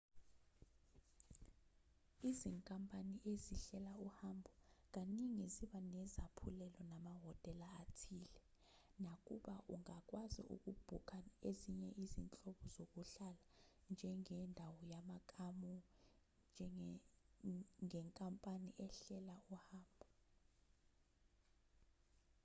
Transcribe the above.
izinkampani ezihlela uhambo kaningi ziba nezaphulelo namahhotela athile nakuba ungakwazi ukubhukha ezinye izinhlobo zokuhlala njengendawo yamakamu ngenkampani ehlela uhambo